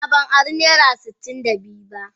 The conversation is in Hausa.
A'a ban ara naira sitin da biyu ba.